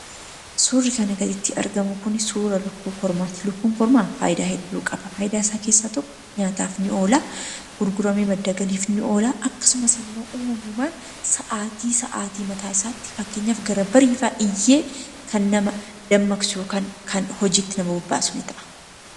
Suurri asiin gaditti arginu Kun suura lukkuu kormaati. Lukkuun kormaan faayidaa hedduu qaba. isaan keessaa tokko nyaataaf ni oola, madda galiifis ni oola. Akkasumas uummamumaan sa'aati sa'aati eegee, fakkeenyaaf gara bariifaa iyyee kan nama kaasudha.